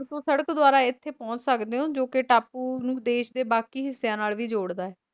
ਤੋਂ ਸੜਕ ਦੁਆਰਾ ਇੱਥੇ ਪਹੁੰਚ ਸਕਦੇ ਹੋ, ਜੋ ਕੇ ਟਾਪੂ ਨੂੰ ਦੇਸ਼ ਦੇ ਬਾਕੀ ਹਿੱਸਿਆਂ ਨਾਲ ਵੀ ਜੋੜਦਾ ਹੈ।